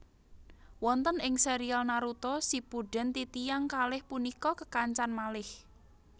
Wonten ing serial Naruto Shippuden titiyang kalih punika kekancan malih